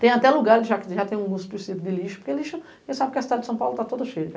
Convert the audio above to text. Tem até lugares que já tem um lixo, porque a cidade de São Paulo está toda cheia.